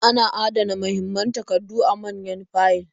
Ana adana mahimman takardu a manyan fayil.